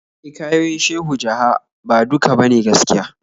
Hikayoyin Shehu Jaha ba duka ba ne gaskiya.